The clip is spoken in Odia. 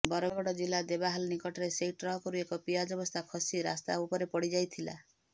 ବରଗଡ଼ ଜିଲ୍ଲା ଦେବାହାଲ ନିକଟରେ ସେହି ଟ୍ରକରୁ ଏକ ପିଆଜ ବସ୍ତା ଖସି ରାସ୍ତା ଉପରେ ପଡ଼ିଯାଇଥିଲା